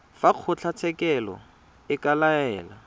fa kgotlatshekelo e ka laela